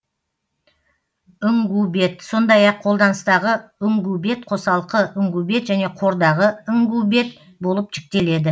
үңгубет сондай ақ қолданыстағы үңгубет қосалқы үңгубет және қордағы үңгубет болып жіктеледі